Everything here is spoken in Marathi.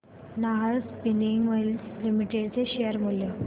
नाहर स्पिनिंग मिल्स लिमिटेड चे शेअर मूल्य